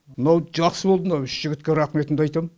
мынау жақсы болды мынау үш жігітке рахметімді айтам